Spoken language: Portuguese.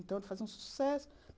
Então, ele fazia um sucesso.